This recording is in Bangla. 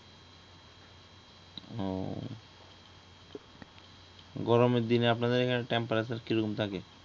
গরমের দিনে আপনাদের অইখানে টেম্পারেচার কিরকম থাকে?